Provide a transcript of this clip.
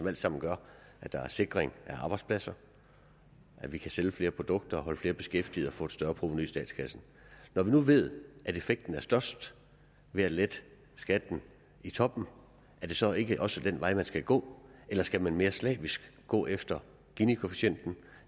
alt sammen gør at der er sikring af arbejdspladser at vi kan sælge flere produkter og holde flere beskæftigede og få et større provenu i statskassen når vi nu ved at effekten er størst ved at lette skatten i toppen er det så ikke også den vej man skal gå eller skal man mere slavisk gå efter ginikoefficienten